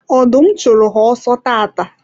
ọdụm chụrụ ha ọsọ taata